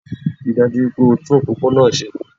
Ríi dájú wípé o tún òpópónà se